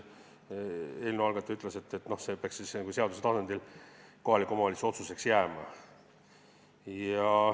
Eelnõu algataja ütles, et see peaks seaduse tasandil kohaliku omavalitsuse otsuseks jääma.